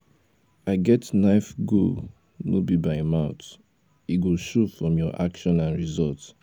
i get life goal no be by mouth e go show from your action and result